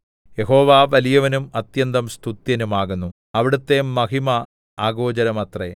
യഹോവ വലിയവനും അത്യന്തം സ്തുത്യനും ആകുന്നു അവിടുത്തെ മഹിമ അഗോചരമത്രേ